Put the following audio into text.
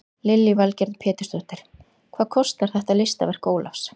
Lillý Valgerður Pétursdóttir: Hvað kostar þetta listaverk Ólafs?